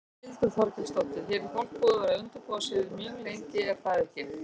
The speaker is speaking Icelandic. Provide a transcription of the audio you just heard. Þórhildur Þorkelsdóttir: Hér er fólk búið að vera undirbúa sig mjög lengi er það ekki?